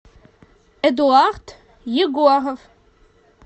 эдуард егоров